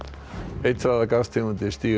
eitraðar gastegundir stíga